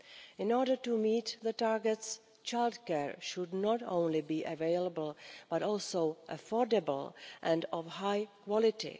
In order to meet the targets, childcare should not only be available, but also be affordable and of high quality.